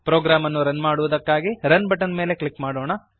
program ಅನ್ನು run ಮಾಡುವುದಕ್ಕಾಗಿ run button ಮೇಲೆ ಕ್ಲಿಕ್ ಮಾಡೋಣ